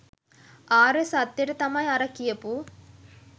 ආර්ය සත්‍යයට තමයි අර කියපු